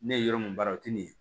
Ne ye yɔrɔ mun baara o ti ne ye